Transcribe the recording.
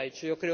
78. Yo